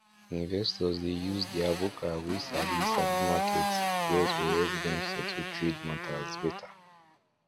investors dey use their broker wey sabi sabi market well to help dem settle trade matters better